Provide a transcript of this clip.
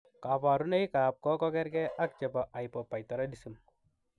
Kabarunoikab ko kerge ak chebo hypoparathyroidism